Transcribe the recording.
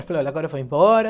Eu falei, olha, agora vou embora.